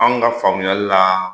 An ka faamuyali la